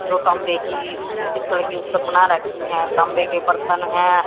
जो तांबे की की पीतड की उस्तक बना रखी है तांबे के बर्तन है।